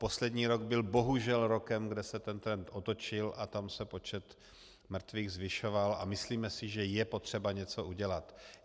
Poslední rok byl bohužel rokem, kde se ten trend otočil a tam se počet mrtvých zvyšoval, a myslíme si, že je potřeba něco udělat.